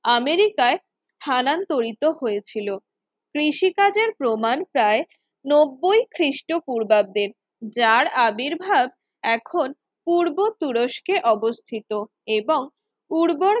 আমেরিকায় স্থানান্তরিত হয়েছিল কৃষি কাজের প্রমাণ প্রায় নব্বই খ্রিস্টপূর্বাব্দের যার আবির্ভাব এখন পূর্ব তুরস্কে অবস্থিত এবং উর্বর